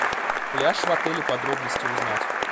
пляж в отеле подробности узнать